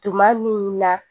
Tuma min na